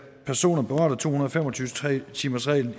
personer berørt af to hundrede og fem og tyve timersreglen